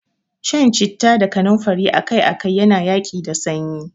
Shan citta da kanumfari akai-akai yana yaƙi da sanyi.